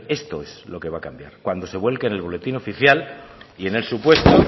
esto es lo que va a cambiar cuando se vuelque en el boletín oficial y en el supuesto